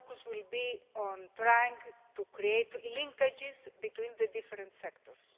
Our focus will be on trying to create linkages between the different sectors.